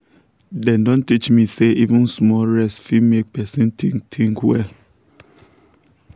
dem don teach me say even small rest fit make person think think well.